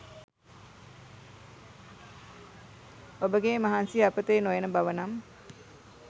ඔබ ගේ මහන්සිය අපතේ නොයන බව නම්